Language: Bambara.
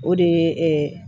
O de ye